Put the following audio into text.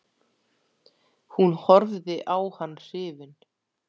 Hún horfði á hann hrifin.